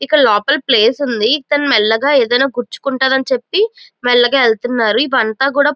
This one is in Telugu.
ఇక్కడ లోపలప్లేస్ ఉంది ఇతను మెల్లగా ఏదైనా గుచ్చు కుంటది అని చెప్పి మెల్లగా వెళ్తున్నారు ఇవంతా కూడా --